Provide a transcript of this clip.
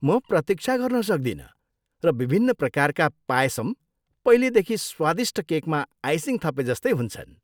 म प्रतिक्षा गर्न सक्दिनँ, र विभिन्न प्रकारका पायसम पहिल्यै देखि स्वादिष्ट केकमा आइसिङ थपेजस्तै हुन्छन्।